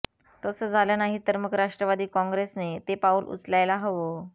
तसं झालं नाही तर मग राष्ट्रवादी काँग्रेसने ते पाऊल उचलायला हवं